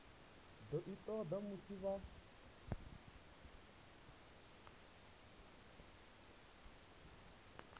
do i toda musi vha